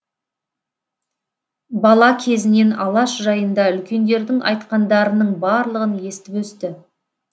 бала кезінен алаш жайында үлкендердің айтқандарының барлығын естіп өсті